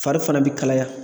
Fari fana bɛ kalaya.